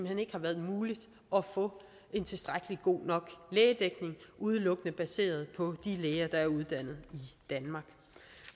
hen ikke har været muligt at få en tilstrækkelig god lægedækning udelukkende baseret på de læger der er uddannet i danmark